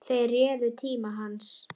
Þeir réðu tíma hans.